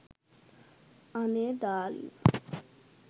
අනේ ඩාර්ලින්